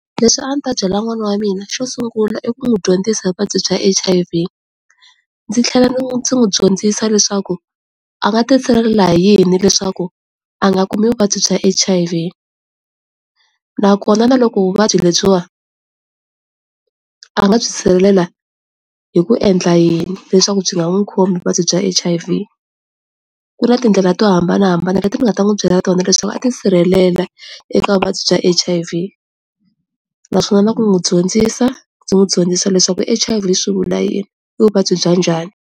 Leswi a ni ta byela n'wana wa mina xo sungula i ku n'wi dyondzisa hi vuvabyi bya H_I_V ndzi tlhela ndzi n'wi dyondzisa leswaku a nga ti sirhelela hi yini leswaku a nga kumi vuvabyi bya H_I_V na kona na loko vuvabyi lebyiwa a nga byi sirhelela hi ku endla yini leswaku byi nga n'wi khomi vuvabyi bya H_I_V ku na tindlela to hambanahambana leti nga ta n'wi byela tona leswaku a tisirhelela eka vuvabyi bya H_I_V naswona na ku n'wi dyondzisa byi n'wi dyondzisa leswaku H_I_V swi vula yini, i vabya njhani.